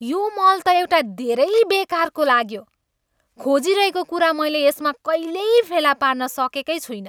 यो मल त एउटा धेरै बेकारको लाग्यो। खोजिरहेको कुरा मैले यसमा कहिल्यै फेला पार्न सकेकै छुइनँ।